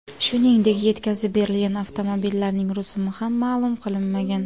Shuningdek, yetkazib berilgan avtomobillarning rusumi ham ma’lum qilinmagan.